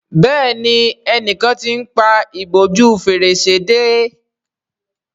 Béèni enìkan t'in pá ìbòjú Fèrèsé dé.